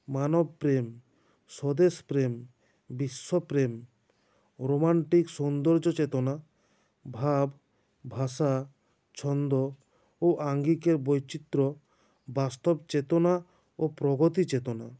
মানবপ্রেম স্বদেশপ্রেম বিশ্বপ্রেম romantic সৌন্দর্যচেতনা ভাব ভাষা ছন্দ ও আঙ্গিকের বৈচিত্র্য বাস্তবচেতনা ও প্রগতিচেতনা